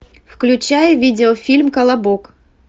включай видео фильм колобок